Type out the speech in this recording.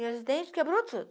E os dentes quebrou tudo.